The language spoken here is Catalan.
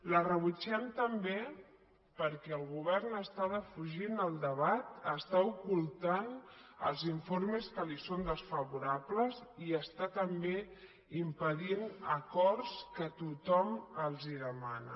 la rebutgem també perquè el govern està defugint el debat està ocultant els informes que li són desfavorables i està també impedint acords que tothom els demana